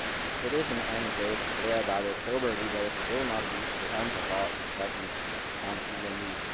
It is in any case clear that the October debate will not be the end of our discussions on EMU.